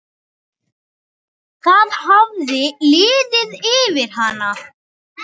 Það hafði liðið yfir hana!